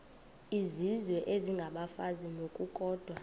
izizwe isengabafazi ngokukodwa